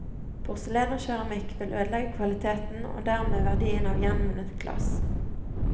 Porselen og keramikk vil ødelegge kvaliteten og dermed verdien av gjenvunnet glass.